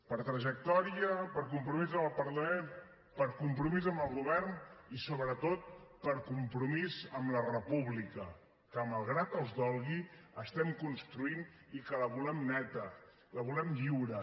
per trajectòria per compromís amb el parlament per compromís amb el govern i sobretot per compromís amb la república que malgrat els dolgui estem construint i que la volem neta la volem lliure